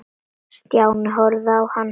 Stjáni horfði á hann.